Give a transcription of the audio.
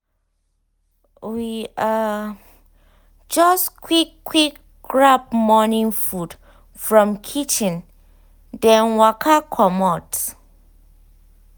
we um just quick quick grab morning food from kitchen then waka comot.